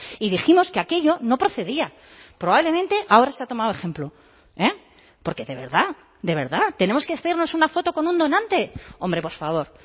y dijimos que aquello no procedía probablemente ahora se ha tomado ejemplo porque de verdad de verdad tenemos que hacernos una foto con un donante hombre por favor